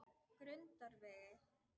Grundarvegi